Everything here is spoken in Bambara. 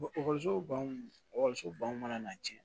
ekɔliso baw ekɔliso baw mana na cɛn